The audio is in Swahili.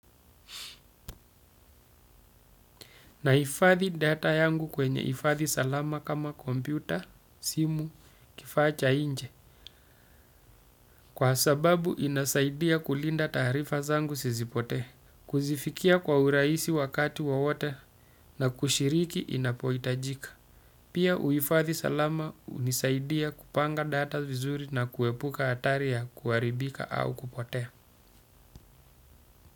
Na ifadhi data yangu kwenye ifadhi salama kama kompyuta, simu, kifacha inje. Kwa sababu inasaidia kulinda tarifa zangu sizipote. Kuzifikia kwa uraisi wakati wawote na kushiriki inapoitajika. Pia uifadhi salama unisaidia kupanga data vizuri na kuepuka atari ya kuaribika au kupotea.